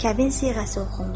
Kəbin siğəsi oxundu.